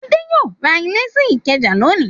Adé yóò ra ilé sí Ìkẹjà lónìí!